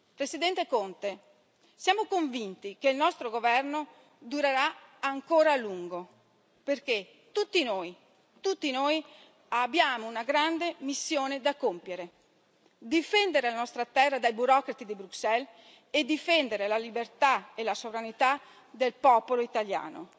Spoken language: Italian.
Presidente Conte, siamo convinti che il nostro governo durerà ancora a lungo, perché tutti noi abbiamo una grande missione da compiere difendere la nostra terra dai burocrati di Bruxelles e difendere la libertà e la sovranità del popolo italiano.